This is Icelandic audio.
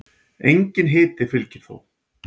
Enginn hiti fylgir þó.